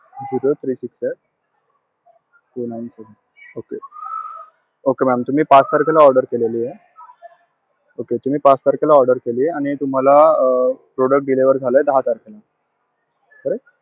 Zero, three, six, eight, two, nine, seven okay, okay ma'am तुम्ही पाच तारखेला order केलेलीये, okay तुम्ही पाच तारखेला order केलीये आणि तुम्हाला product deliver झालंय दहा तारखेला. correct?